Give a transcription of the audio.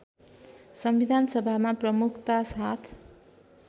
संविधानसभामा प्रमुखता साथ